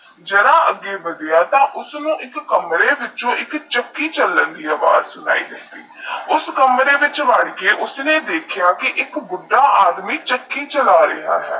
ਜਹਾ ਆਘੇ ਵਾਡਿਆ ਤਾਹ ਇਕ ਕਮਰੇ ਵਿਚ ਇਕ ਚੱਕੀ ਚਲਣ ਦੀ ਵਾਜ ਆਈ ਸੁਣੀ ਯੂਐਸਐਸ ਕਮੇਰੇ ਵਿੱਚ ਵਾਰ ਕੇ ਉਸਨੇ ਦੇਖਿਆ ਏਕ ਬੁੜਾ ਆਦਮੀ ਚੱਕੀ ਚਲਾ ਰਿਹਾ ਹੈਂ